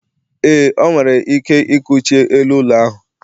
ee, o nwere ike ikuchie elu ụlọ ahụ